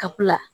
Kapula